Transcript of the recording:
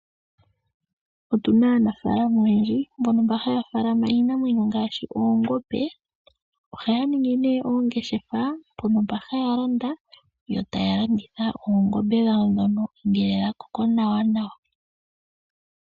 Otuna aanafalama oyendji, mbono haya faalama iinamwenyo ngaashi, oongombe. Ohaya ningi ne oongeshefa, mpono haya landa, yo taya landitha oongombe dhawo ngele dha koko nawa.